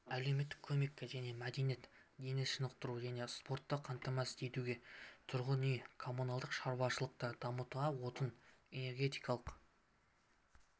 әлеуметтік көмекке және мәдениет дене шынықтыру және спортты қамтамасыз етуге тұрғын үй-коммуналдық шаруашылықты дамытуға отын-энергетикалық